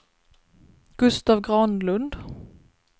Gustav Granlund